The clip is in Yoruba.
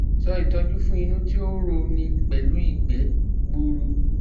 So itoju fun inu ti o ro ni pelu igbe gburu